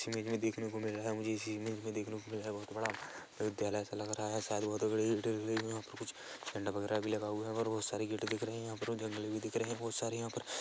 इस इमेज मे देखने को मिल रहा है मुझे इस इमेज मे देखने को मिल रहा है बहुत बड़ा विद्यालय सा लग रहा है शायद बहुत बड़े कुछ झंडा वगेरा भी लगा हुआ है बहुत सारे गेट दिख रहे है यहां पर जंगल भी दिख रहे है बहुत सारे यहां पर--